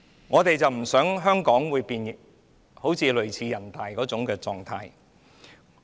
我們不希望香港變成人大的狀態。